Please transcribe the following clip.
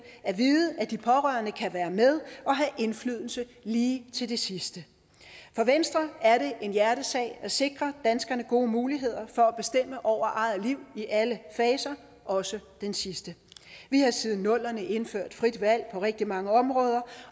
at vide at de pårørende kan være med og have indflydelse lige til det sidste for venstre er det en hjertesag at sikre danskerne gode muligheder for at bestemme over eget liv i alle faser også den sidste vi har siden nullerne indført frit valg på rigtig mange områder